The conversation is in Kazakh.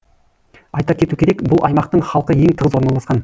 айта кету керек бұл аймақтың халқы ең тығыз орналасқан